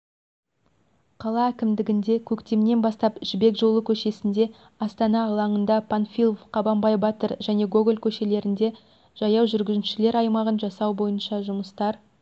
қала әкімдігінде көктемнен бастап жібек жолы көшесінде астана алаңында панфилов қабанбай батыр және гоголь көшелерінде жаяу жүргіншілер аймағын жасау бойынша жұмыстар